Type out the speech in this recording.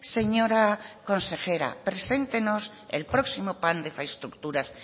señora consejera preséntenos el próximo plan de infraestructuras